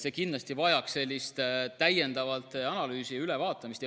See vajaks kindlasti täiendavat analüüsi ja ülevaatamist.